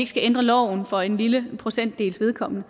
skal ændre loven for en lille procentdels vedkommende